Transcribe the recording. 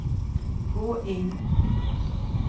gå inn